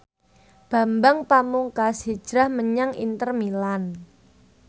Bambang Pamungkas hijrah menyang Inter Milan